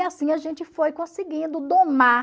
E assim a gente foi conseguindo domar